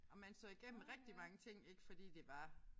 Og man så igennem rigtig mange ting ik fordi det var